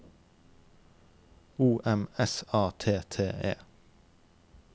O M S A T T E